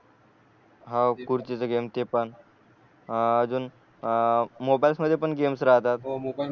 हो खुर्ची च गेम ते पण अ अजून अ मोबाईल्स मध्ये पण गेम्स राहतात